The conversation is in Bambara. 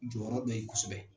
Jɔyɔrɔ be yen kosɛbɛ